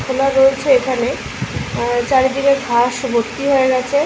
খোলা রয়েছে এইখানে এএ চারিদিকে ঘাস ভর্তি হয়ে গেছে।